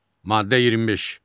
Maddə 25.